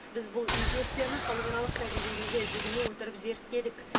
біз бұл инфекцияны халықаралық тәжірибеге жүгіне отырып зерттедік